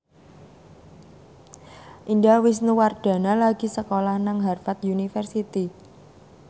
Indah Wisnuwardana lagi sekolah nang Harvard university